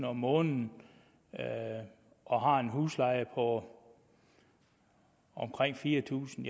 om måneden og har en husleje på omkring fire tusind